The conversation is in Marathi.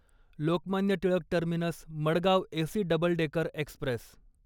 Lokmanya Tilak terminus Madgaon AC double decker Express